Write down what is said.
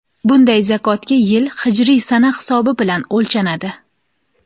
Bunday zakotga yil hijriy sana hisobi bilan o‘lchanadi.